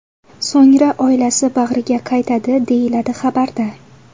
So‘ngra oilasi bag‘riga qaytadi”, deyiladi xabarda.